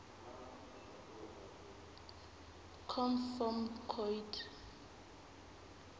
conv form coid